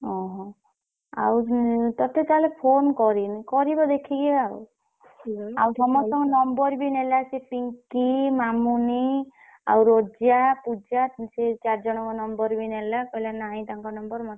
ଓହୋ ଆଉ ଉଁ ତତେ ତାହେଲେ phone କରିନି କରିବ ଦେଖିକି ଆଉ ଆଉ ସମସ୍ତଙ୍କର number ବି ନେଲା ସେ ପିଙ୍କି ମାମୁନି ଆଉ ରୋଜା, ପୂଜା ସେଇ ଚାରିଜଣଙ୍କ number ବି ନେଲା କହିଲା ନାଇଁ ତାଙ୍କ number